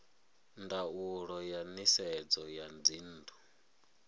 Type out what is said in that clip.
ndaulo ya nisedzo ya dzinnu